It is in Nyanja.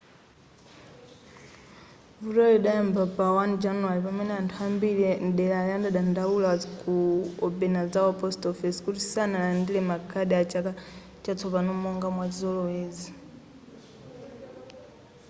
vutoli lidayamba pa 1 januware pamene anthu ambiri mdelari anadandaula ku obanazawa post office kuti sanalandire ma card a chaka chatsopano monga mwa chizolowezi